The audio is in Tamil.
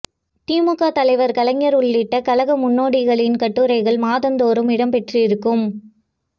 திமுக தலைவர் கலைஞர் உள்ளிட்ட கழக முன்னோடிகளின் கட்டுரைகள் மாதந்தோறும் இடம் பெற்றிருக்கும்